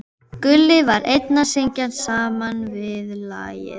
Gulli var enn að syngja sama viðlagið.